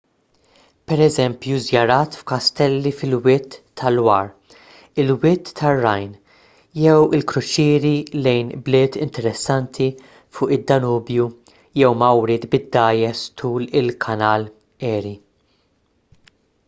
pereżempju żjarat f'kastelli fil-wied ta' loire il-wied tar-rhine jew il-kruċieri lejn bliet interessanti fuq id-danubju jew mawriet bid-dgħajjes tul il-kanal erie